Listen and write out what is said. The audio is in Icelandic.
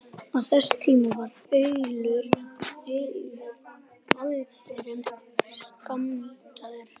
Á þessum tíma var allur gjaldeyrir skammtaður.